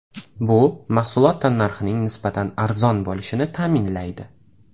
Bu mahsulot tannarxining nisbatan arzon bo‘lishini ta’minlaydi.